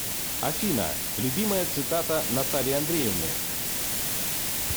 афина любимая цитата натальи андреевны